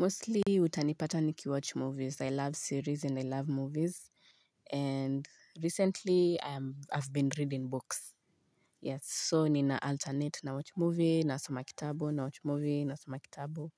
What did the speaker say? Mostly utanipata niki watch movies I love series and I love movies. And recently I've been reading books. Yes so nina alternate na watch movie nasoma kitabu na watch movie na soma kitabu.